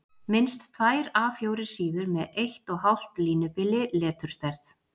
Minnst tvær A 4 síður með 1½ línubili, leturstærð